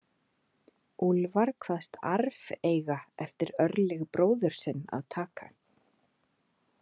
Úlfar kvaðst arf eiga eftir Örlyg bróður sinn að taka.